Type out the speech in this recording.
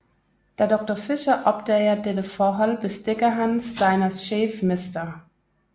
Da Doctor Fischer opdager dette forhold bestikker han Steiners chef Mr